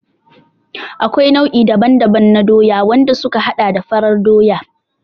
Akwai nau'i daban-daban na Doya, wanda suka haɗa da farar Doya.